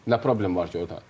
Nə problem var ki orda?